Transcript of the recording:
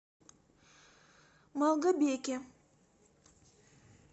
малгобеке